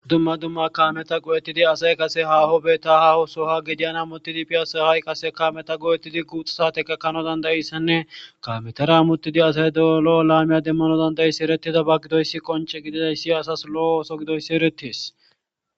dumma dumma kaameta qo7ettidi asay qase haho beetta haho soha gidiyana mutidi pi asahai qase kaameta qo7ettidi guuxa saate kakkano dandayissanne kametara muttidi asay do7olo7o laamiya demmano dandayissi eretida ba gidoyssi qonce gididayssi asas lo7o ooso gidoyssi erettes